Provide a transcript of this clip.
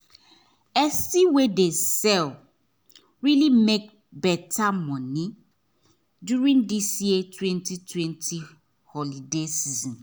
esty wey dey sell really make better money during this year 2020 holiday season